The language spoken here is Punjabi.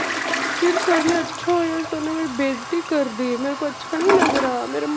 ਯਾਰ sir ਨੇ ਅੱਛਾ sir ਨੇ ਮੇਰੀ ਬੇਇਜਤੀ ਕਰ ਦੀ ਮੇਰੇ ਕੋ ਅੱਛਾ ਨਹੀਂ ਲੱਗ ਰਿਹਾ ਮੇਰਾ